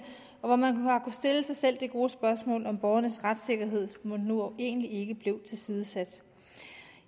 og hvor man har stille sig selv det gode spørgsmål om borgernes retssikkerhed mon egentlig ikke nu blev tilsidesat